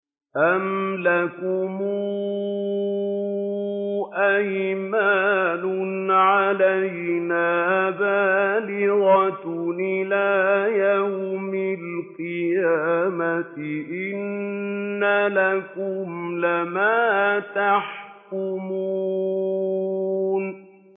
أَمْ لَكُمْ أَيْمَانٌ عَلَيْنَا بَالِغَةٌ إِلَىٰ يَوْمِ الْقِيَامَةِ ۙ إِنَّ لَكُمْ لَمَا تَحْكُمُونَ